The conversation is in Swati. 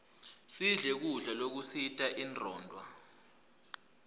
sidle kudla lokusita inronduo